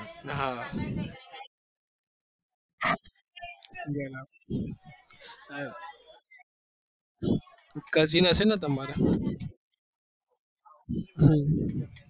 હા cousin હશે ને તમારા હમ